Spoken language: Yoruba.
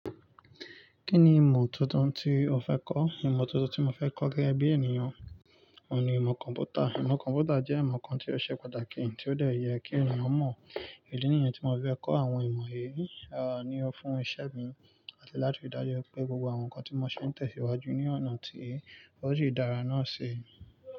Kí ni ìmọ̀ tuntun tí o fẹ́ kọ́? Ìmọ̀ tuntun tí mo fẹ́ kọ́ gẹ́gẹ́ bí ènìyàn oun ni ìmọ̀ kọ̀m̀pútà. Ìmọ̀ kọ̀m̀pútà jẹ́ ìmọ̀ kan tí ó ṣe pàtàkì tí ó dẹ̀ yẹ kí ènìyàn mọ̀. Ìdí nìyẹn tí mo fi fẹ́ kọ́ àwọn ìmọ̀ yìí, àní o fún iṣẹ́ mi àti láti ri dáju pé gbogbo àwọn nǹkan tí mo ṣe ń tẹ̀síwájú ní ọ̀nà tí ó sì dára náà ṣi.